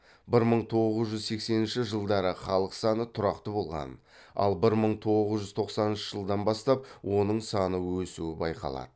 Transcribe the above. бір мың тоғыз жүз сексенінші жылдары халық саны тұрақты болған ал бір мың тоғыз жүз тоқсаныншы жылдан бастап оның саны өсуы байқалды